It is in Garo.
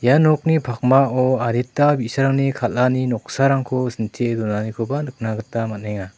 ia nokni pakmao adita bi·sarangni kal·ani noksarangko sintie donanikoba nikna gita man·enga.